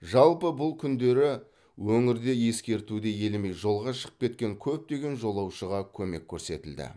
жалпы бұл күндері өңірде ескертуді елемей жолға шығып кеткен көптеген жолаушыға көмек көрсетілді